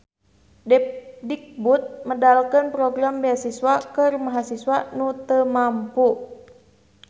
Depdikbud medalkeun program beasiswa keur mahasiswa nu teu mampu